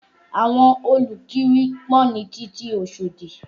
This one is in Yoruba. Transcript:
Àwọn olùkiri pọ̀ ní títì Oṣòdì